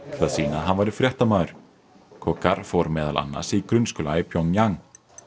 hann væri fréttamaður fór meðal annars í grunnskóla í Pjongjang